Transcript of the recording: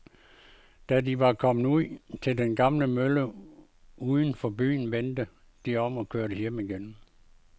Da de var kommet ud til den gamle mølle uden for byen, vendte de om og kørte hjem igen.